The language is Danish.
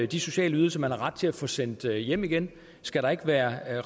de sociale ydelser man har ret til at få sendt hjem hjem skal der ikke være